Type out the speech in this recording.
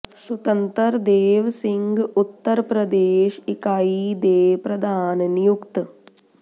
ਸੁਤੰਤਰ ਦੇਵ ਸਿੰਘ ਉੱਤਰ ਪ੍ਰਦੇਸ਼ ਇਕਾਈ ਦੇ ਪ੍ਰਧਾਨ ਨਿਯੁਕਤ